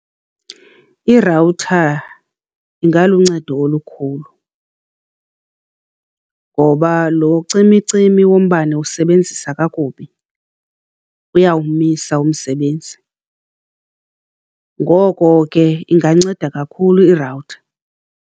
Irawutha ingaluncedo olukhulu ngoba lo cimicimi wombane usebenzisa kakubi uyawumisa umsebenzi. Ngoko ke inganceda kakhulu irawutha.